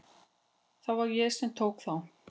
Það var ég sem tók þá.